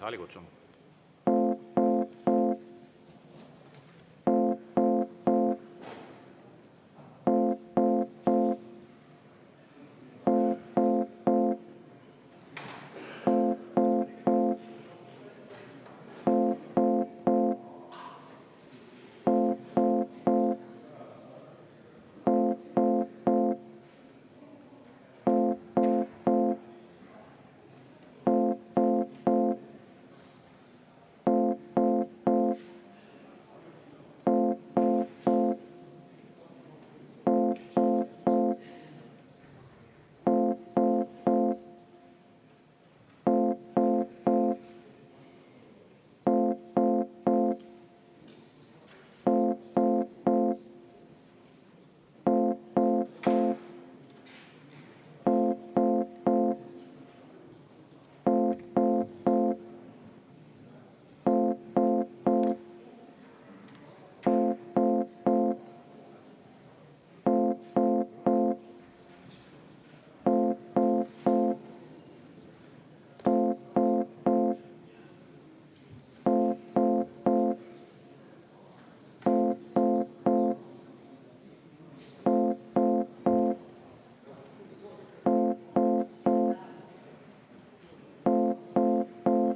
Saalikutsung!